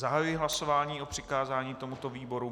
Zahajuji hlasování o přikázání tomuto výboru.